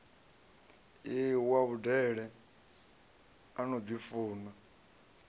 wa vhudele a no ḓifuna